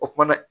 O kumana